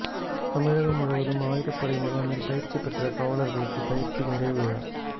தமிழகம் முழுவதும் ஆயுதப்படை முகாமில் பயிற்சி பெற்ற காவலர்களுக்கு பயிற்சி நிறைவு விழா